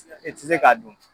I tɛ se k'a dun!